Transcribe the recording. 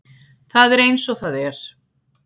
Það er eins og það er